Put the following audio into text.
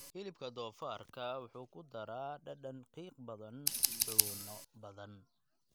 Hilibka doofaarka wuxuu ku daraa dhadhan qiiq badan suxuuno badan.